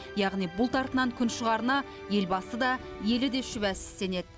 яғни бұлт артынан күн шығарына елбасы да ел де шүбәсіз сенеді